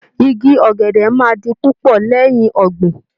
Igi ọ̀gẹ̀dẹ̀ máa di púpọ̀ lẹ́yìn ọ̀gbìn